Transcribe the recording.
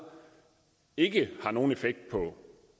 ikke har nogen effekt på